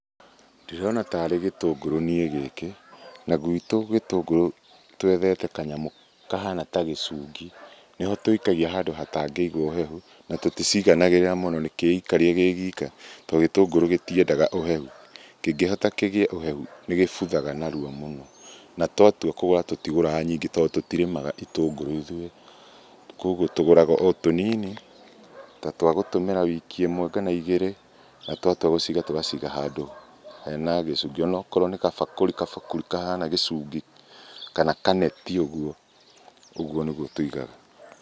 Ndĩrona tarĩ gĩtũngũrũ niĩ gĩkĩ na guitũ gĩtũngũrũ twethete kanyamũ kahana ta gĩcungi, nĩho tũikagia handũ hatangĩiga ũhehu na tũticiganagĩrĩra mũno nĩkĩikarie kĩ ika tondũ gĩtũngũrũ gĩtiendaga ũhehu. Kĩngĩhota kĩgĩe ũhehu nĩ gĩbuthaga narua mũno na twatua kũgũra, tũtigũraga nyingĩ tondũ tũtirĩmaga itũngũrũ ithuĩ, koguo tũgũraga o tũnini ta twa gũtũmĩra wiki ĩmwe kana igĩrĩ, na twatua gũciiga tũgaciiga handũ hena gĩcungi onokorwo nĩ gabakũri gabakũri kahana gĩcungi kana kaneti ũguo, ũguo nĩguo tũigaga.